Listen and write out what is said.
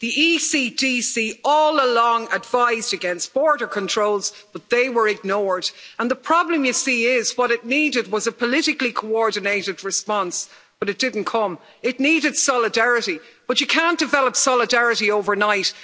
The ECDC all along advised against border controls, but they were ignored, and the problem, you see, is that what it needed was a politically coordinated response, but it didn't come. It needed solidarity, but you can't develop solidarity overnight.